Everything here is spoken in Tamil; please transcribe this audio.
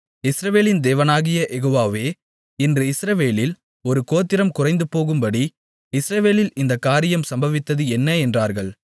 இஸ்ரவேலின் தேவனாகிய யெகோவாவே இன்று இஸ்ரவேலில் ஒரு கோத்திரம் குறைந்துபோகும்படி இஸ்ரவேலில் இந்தக் காரியம் சம்பவித்தது என்ன என்றார்கள்